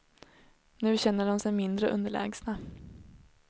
Nu känner de sig mindre underlägsna.